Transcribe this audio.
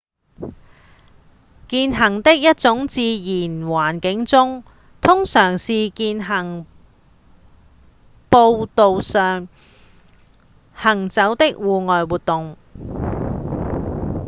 健行是一種在自然環境中通常是在健行步道上行走的戶外活動